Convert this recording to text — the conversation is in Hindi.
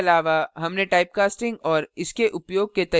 इसके अलावा हमने typecasting और इसके उपयोग के तरीकों के बारे में भी सीखा